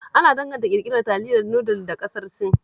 Ana danganta ƙirƙirar taliyar nudul da ƙasar Sin